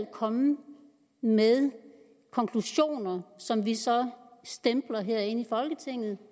komme med konklusioner som vi så stempler herinde i folketinget